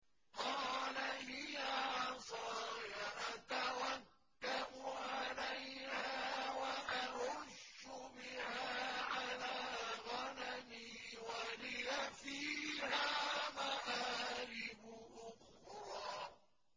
قَالَ هِيَ عَصَايَ أَتَوَكَّأُ عَلَيْهَا وَأَهُشُّ بِهَا عَلَىٰ غَنَمِي وَلِيَ فِيهَا مَآرِبُ أُخْرَىٰ